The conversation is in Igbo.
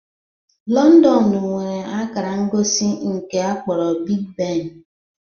Londonu nwere akara ngosi nke akpọrọ "Big Ben".